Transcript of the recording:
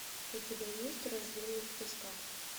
у тебя есть рожденный в песках